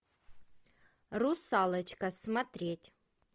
русалочка смотреть